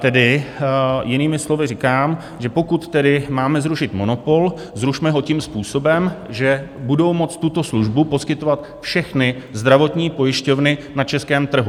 Tedy jinými slovy říkám, že pokud tedy máme zrušit monopol, zrušme ho tím způsobem, že budou moci tuto službu poskytovat všechny zdravotní pojišťovny na českém trhu.